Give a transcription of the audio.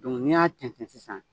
n'i y'a tɛntɛ sisan